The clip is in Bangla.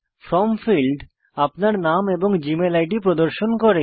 ফ্রম ফীল্ড আপনার নাম এবং জীমেল আইডি প্রদর্শন করে